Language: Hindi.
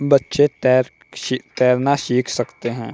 बच्चे तैर तैरना सीख सकते हैं।